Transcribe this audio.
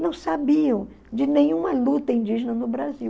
Não sabiam de nenhuma luta indígena no Brasil.